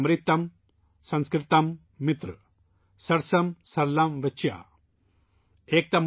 अमृतम् संस्कृतम् मित्र, सरसम् सरलम् वचः |